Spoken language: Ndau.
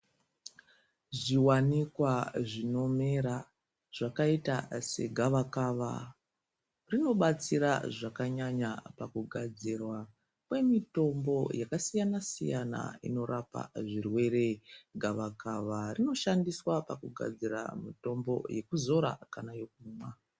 Zviwanikwa zvinomera zvakayita segawa-kawa, zvinobatsira zvakanyanya pakugadzirwa kwemitombo yakasiyana-siyana, inorapa zvirwere, gawakawa rinoshandiswa pakugadzira mitombo yekudzora kana yekumwa.